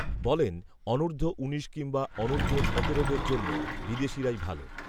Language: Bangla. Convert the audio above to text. বলেন, অনূধর্ব উনিশ, কিংবা অনূর্ধ্ব সতেরোদের জন্য, বিদেশিরাই ভাল